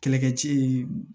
Kɛlɛkɛcɛ ye